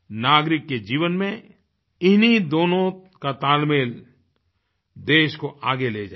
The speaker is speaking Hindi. नागरिक के जीवन में इन्हीं दोनों का तालमेल देश को आगे ले जाएगा